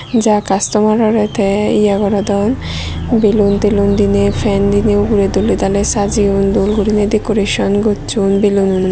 ja customerorey tey ye gorodon belun telun diney fan diney ugurey doley daley sajeyon dol guriney decoration gosson belunnoi.